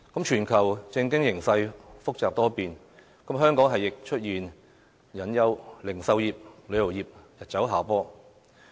全球政經形勢複雜多變，香港亦出現隱憂，零售業、旅遊業均日走下坡。